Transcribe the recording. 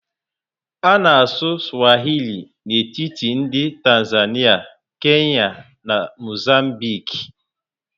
A na anụ Swahili n'etiti ndị Tanzania, Kenya na Mozambique